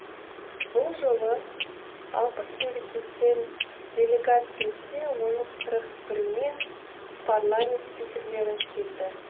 бұл жолы алпыс мемлекеттен делегат келсе оның қырық біріінен парламент спикерлері келді